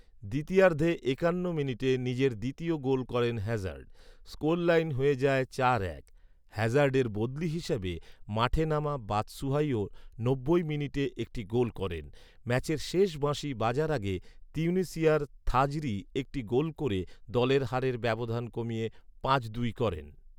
দ্বিতীয়ার্ধে একান্ন মিনিটে নিজের দ্বিতীয় গোল করেন হ্যাজার্ড ৷ স্কোরলাইন হয়ে যায় চার এক ৷হ্যাজার্ডের বদলি হিসেবে মাঠে নামা বাৎসুহাইও নব্বই মিনিটে একটি গোল করেন ৷ ম্যাচের শেষ বাঁশি বাজার আগে তিউনিশিয়ার খাজরি একটি গোল করে দলের হারের ব্যবধান কমিয়ে পাঁচ দুই করেন ৷